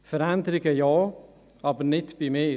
Veränderungen ja, aber nicht bei mir.